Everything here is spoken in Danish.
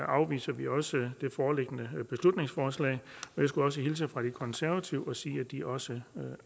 afviser vi også det foreliggende beslutningsforslag jeg skulle også hilse fra de konservative og sige at de også